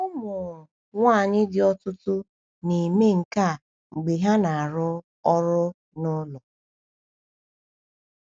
Ụmụ nwanyị di ọtụtụ na-eme nke a mgbe ha na-arụ ọrụ n’ụlọ.